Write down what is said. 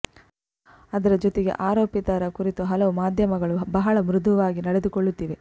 ಅದರ ಜೊತೆಗೆ ಆರೋಪಿತರ ಕುರಿತು ಹಲವು ಮಾಧ್ಯಮಗಳು ಬಹಳ ಮೃದುವಾಗಿ ನಡೆದುಕೊಳ್ಳುತ್ತಿವೆ